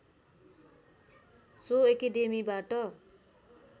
so एकेडेमीबाट